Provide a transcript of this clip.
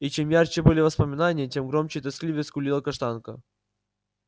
и чем ярче были воспоминания тем громче и тоскливее скулила каштанка